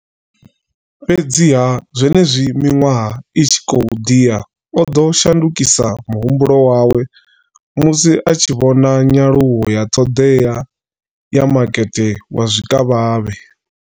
Fhedziha, zwenezwi miṅwaha i tshi khou ḓi ya, o ḓo shandukisa muhumbulo musi a tshi vhona nyaluwo ya ṱhoḓea ya makete wa zwikavhavhe.